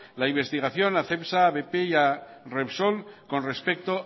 la investigación a cepsa bp y a repsol con respecto